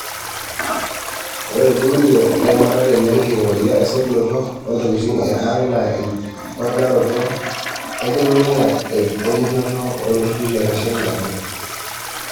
Ore olbulunye le ramatare lekingoria esotunoto o ntokitin e ang naa emponaroto enkilulung'a e njoto o ltururi loitasheki ate